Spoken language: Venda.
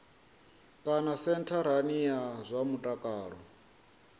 kana sentharani ya zwa mutakalo